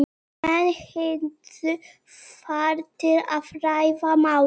Menn hittust þar til að ræða málin.